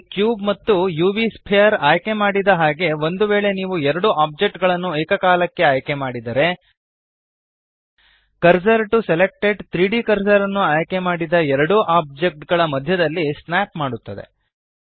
ಇಲ್ಲಿ ಕ್ಯೂಬ್ ಮತ್ತು UV sphere ಆಯ್ಕೆಮಾಡಿದ ಹಾಗೆ ಒಂದು ವೇಳೆ ನೀವು ಎರಡು ಓಬ್ಜೆಕ್ಟ್ ಗಳನ್ನು ಏಕಕಾಲಕ್ಕೆ ಆಯ್ಕೆಮಾಡಿದರೆ ಕರ್ಸರ್ ಟಿಒ ಸೆಲೆಕ್ಟೆಡ್ 3ದ್ ಕರ್ಸರ್ ನ್ನು ಆಯ್ಕೆಮಾಡಿದ ಎರಡೂ ಓಬ್ಜೆಕ್ಟ್ ಗಳ ಮಧ್ಯದಲ್ಲಿ ಸ್ನ್ಯಾಪ್ ಮಾಡುತ್ತದೆ